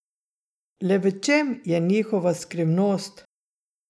Le v čem je njihova skrivnost?